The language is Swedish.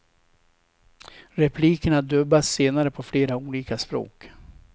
Replikerna dubbas senare på flera olika språk.